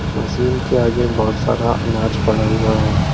Machine के आगे बहुत सारा अनाज पड़ा हुआ है।